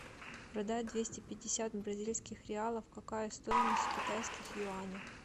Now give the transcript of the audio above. продать двести пятьдесят бразильских реалов какая стоимость в китайских юанях